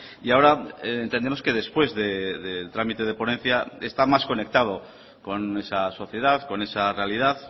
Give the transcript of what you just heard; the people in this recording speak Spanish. y ahora entendemos que después del trámite de ponencia está más conectado con esa sociedad con esa realidad